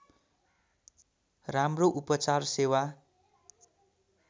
राम्रो उपचार सेवा